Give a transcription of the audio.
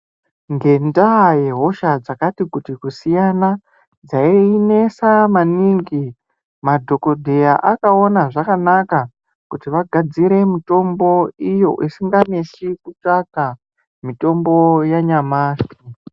Ngenda yehosha dzakati kuti kusiyana dzainesa maningi madhokodheya akona zvakanaka Kuti vagadzire mitombo iyo isinganetsi kutsvaka Mitombo yanyamashi.